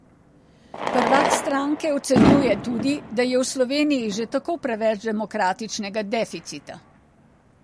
Prvak stranke ocenjuje tudi, da je v Sloveniji že tako preveč demokratičnega deficita.